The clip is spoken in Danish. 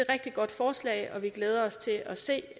rigtig godt forslag og vi glæder os til at se